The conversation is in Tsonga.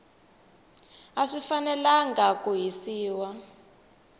a swi fanelangi ku hisiwa